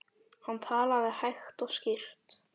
Hann talaði hægt og skýrt.